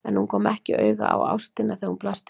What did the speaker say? En hún kom ekki auga á ástina þegar hún blasti við henni.